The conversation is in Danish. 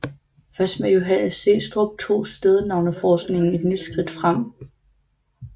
Først med Johannes Steenstrup tog stednavneforskningen et nyt skridt frem